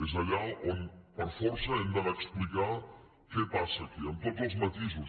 és allà on per força hem d’anar a explicar què passa aquí amb tots els matisos